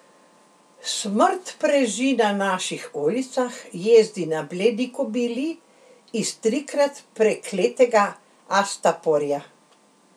Smrt preži na naših ulicah, jezdi na bledi kobili iz trikrat prekletega Astaporja.